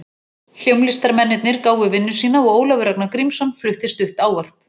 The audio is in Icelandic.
Hljómlistarmennirnir gáfu vinnu sína og Ólafur Ragnar Grímsson flutti stutt ávörp.